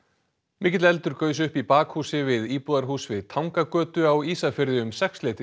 mikill eldur gaus upp í bakhúsi við íbúðarhús við Tangagötu á Ísafirði um sexleytið